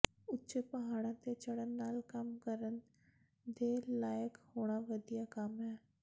ਉੱਚੇ ਪਹਾੜਾਂ ਤੇ ਚੜ੍ਹਨ ਨਾਲ ਕੰਮ ਕਰਨ ਦੇ ਲਾਇਕ ਹੋਣਾ ਵਧੀਆ ਕੰਮ ਹੈ